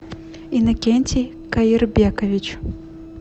иннокентий каирбекович